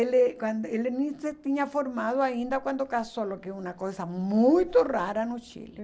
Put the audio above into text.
Ele quando ele nem se tinha formado ainda quando casou, o que é uma coisa muito rara no Chile.